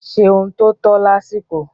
Ṣe ohun tó tọ́ lásìkò.